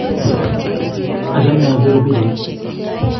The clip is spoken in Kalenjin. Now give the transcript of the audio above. achome apire pichait